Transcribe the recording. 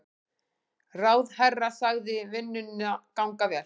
Ráðherra sagði vinnuna ganga vel.